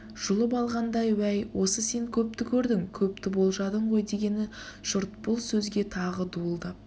жұлып алғандай уәй осы сен көпті көрдің көпті болжадың ғой дегені жұрт бұл сөзге тағы дуылдап